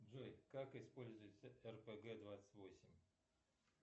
джой как используется рпг двадцать восемь